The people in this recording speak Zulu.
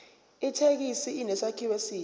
ithekisi inesakhiwo esihle